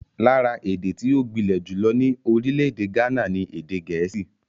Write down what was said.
Lára èdè tí ó gbilẹ̀ jùlọ ní orílẹ̀-èdè Ghana ni Èdè Gẹ̀ẹ́sì.